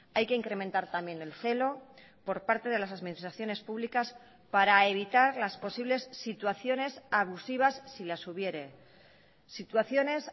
hay que incrementar también el celo por parte de las administraciones públicas para evitar las posibles situaciones abusivas si las hubiere situaciones